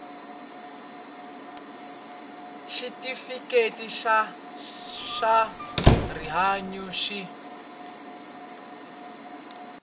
xitifiketi xa swa rihanyu xi